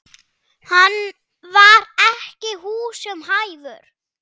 Hann var ekki húsum hæfur.